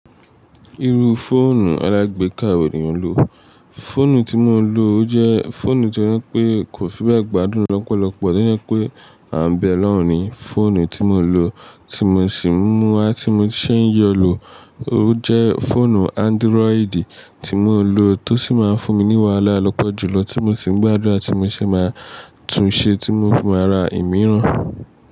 Irú fóònù alágbéka wo ni o ń lò? Fóònù tí mo ń lò, o jẹ́ fóònù tí ó je pé kò fi bẹ́ẹ̀ gbádùn lọ́pọ̀lọpọ̀ tó jẹ pé à ń bẹ'lọ́ùn ní fóònù tí mo ń lò tí mo sì ń mú a tí mo sì ń yọ lò. Ó jẹ́ fóònù Android tí mo ń lò tó sì máa ń fún mi ní wàhálà lọ́pọ̀jùlọ tí mo sì ń gbádùra tí mo se máa tún ṣe tí mo fì máa ra ìmíràn.